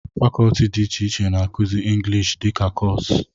fàkọọtị dị iche iche na-akụzi engịlịshị dika kọọsụ